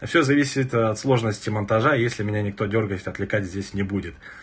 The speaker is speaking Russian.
а всё зависит от сложности монтажа если меня никто дёргать отвлекать здесь не будет